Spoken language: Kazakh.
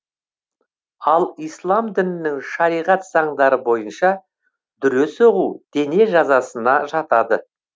ал ислам дінінің шариғат заңдары бойынша дүре соғу дене жазасына жатады